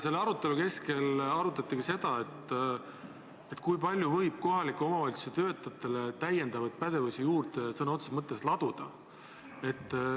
Kas arutelu kestel arutati ka seda, kui palju võib kohaliku omavalitsuse töötajatele täiendavaid pädevusi juurde laduda?